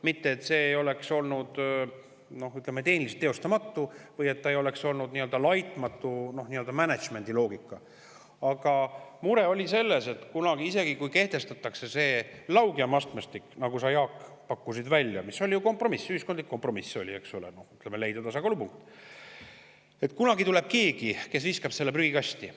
Mitte et see oleks olnud tehniliselt teostamatu või et see ei oleks olnud laitmatu n-ö mänedžmendiloogika, vaid mure oli selles, et isegi kui kehtestatakse see laugjam astmestik, nagu sa, Jaak, pakkusid kompromissina välja – ühiskondlik kompromiss oli leida tasakaalupunkt –, siis kunagi tuleb keegi, kes viskab selle prügikasti.